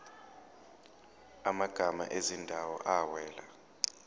amagama ezindawo awela